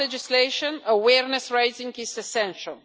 Beyond legislation, awareness raising is essential.